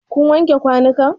Kun wanke kwanun kan?